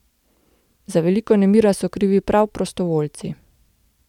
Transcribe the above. Za veliko nemira so krivi prav prostovoljci.